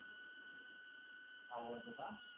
आवडते का?